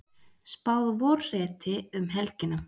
Spáð vorhreti um helgina